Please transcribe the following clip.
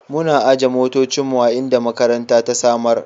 Muna aje motocinmu a inda makaranta ta samar.